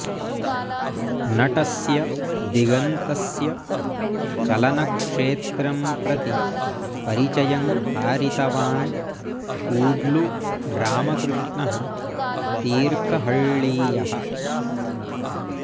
नटस्य दिगन्तस्य चलनक्षेत्रं प्रति परिचयं कारितवान् कूड्लु रामकृष्णः तीर्थहळ्ळीयः